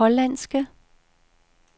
hollandske